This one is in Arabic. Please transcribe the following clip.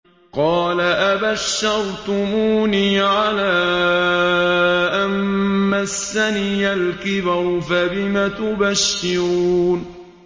قَالَ أَبَشَّرْتُمُونِي عَلَىٰ أَن مَّسَّنِيَ الْكِبَرُ فَبِمَ تُبَشِّرُونَ